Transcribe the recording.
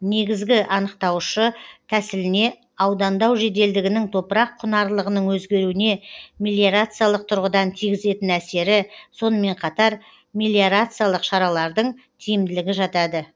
негізгі анықтаушы тәсіліне аудандау жеделдігінің топырақ құнарлылығының өзгеруіне мелиорациялық тұрғыдан тигізетін әсері сонымен қатар мелиорациялық шаралардың тиімділігі жатады